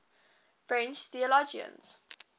french theologians